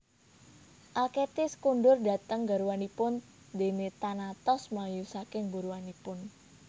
Alkestis kondur dhateng garwanipun déné Thanatos mlayu saking buruanipun